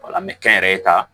an bɛ kɛnyɛrɛye ta